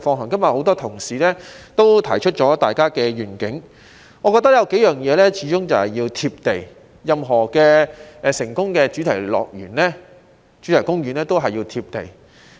今天有很多同事提出了各自的願景，我覺得有數項事情始終要"貼地"，任何成功的主題公園也要"貼地"。